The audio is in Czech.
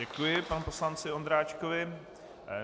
Děkuji panu poslanci Ondráčkovi.